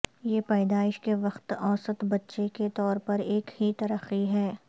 یہ پیدائش کے وقت اوسط بچے کے طور پر ایک ہی ترقی ہے